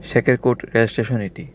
সেকের কোট রেলস্টেশন এটি.